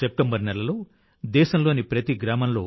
September నెలలో దేశంలోని ప్రతి గ్రామంలో